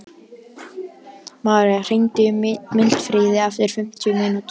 Marí, hringdu í Mildfríði eftir fimmtíu mínútur.